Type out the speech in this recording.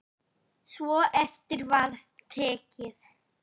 Svo eftir var tekið.